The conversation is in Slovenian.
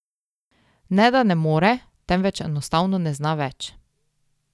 Ne da ne more, temveč enostavno ne zna več!